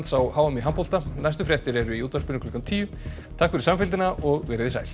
á h m í handbolta næstu fréttir eru í útvarpinu klukkan tíu takk fyrir samfylgdina og verið þið sæl